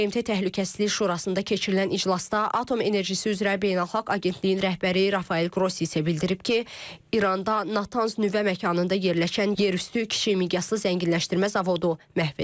BMT Təhlükəsizlik Şurasında keçirilən iclasda Atom Enerjisi üzrə Beynəlxalq Agentliyin rəhbəri Rafael Qrossi bildirib ki, İranda Natanz nüvə məkanında yerləşən yerüstü kiçik miqyaslı zənginləşdirmə zavodu məhv edilib.